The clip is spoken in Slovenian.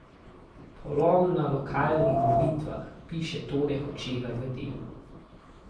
Polom na lokalnih volitvah, piše Tone Hočevar v Delu.